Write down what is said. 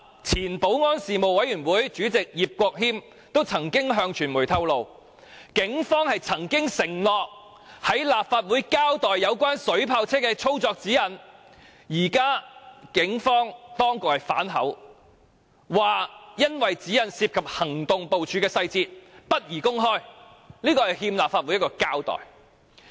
前保安事務委員會主席葉國謙便曾向傳媒透露，警方曾經承諾在立法會交代有關水炮車的操作指引，但現時當局卻反口，指有關指引涉及警方行動部署細節，不便公開，這實在是欠立法會一個交代。